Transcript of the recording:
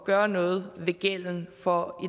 gøre noget ved gælden for